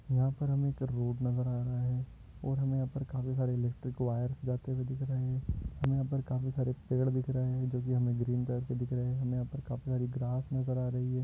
यहा पर हमे एक रोड़ नजर आ रहा है और हमे यहा पर हरे हरे इलेक्ट्रिक वायर्स जाते हुए दिख रहे है हमे यहां पर काफी सारे पेड़ दिख रहे है देखिए हमे ग्रीन कलर के दिख रहे है और यहां पर काफी सारी ग्रास नजर आ रही है।